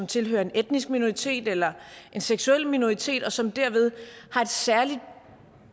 tilhører en etnisk minoritet eller en seksuel minoritet og som derved har et særligt